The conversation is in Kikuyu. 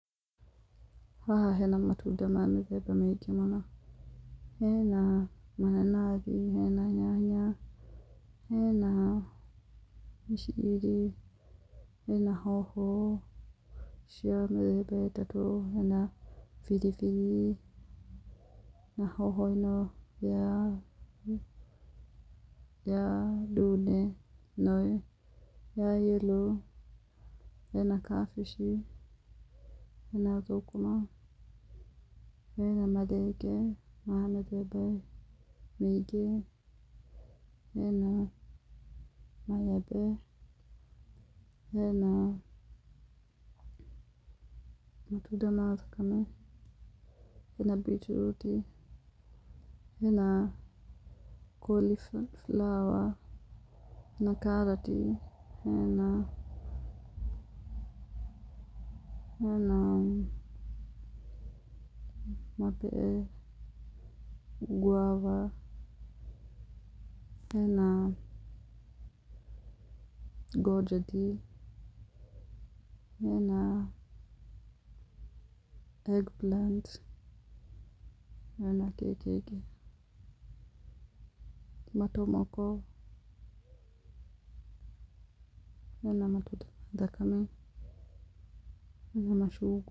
Haha hena matunda ma mĩthemba mĩingĩ mũno, hena mananathi, hena nyanya, hena mĩciri, hena hoho cia mĩthemba ĩtatũ, hena biribiri, na hoho ĩno ya ya ndune, ĩno ya yerũ, hena kabici, hena thũkũma, hena marenge ma mĩthemba mĩngĩ, hena maembe, hena matunda ma thakame, hena bitiruti, hena cauliflower, na karati, hena hena guava, hena conjeti, hena egg plant, hena kĩ kĩngĩ, matomoko, hena matunda mathaka, hena macungwa.